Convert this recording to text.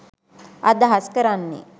අදහස් කරන්නේ